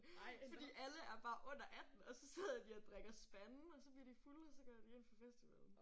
Fordi alle er bare under 18. Og så sidder de og drikker spande og så bliver de fulde og så går de ind på festivalen